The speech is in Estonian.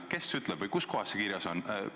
Kes ütleb või kus kohas see kirjas on?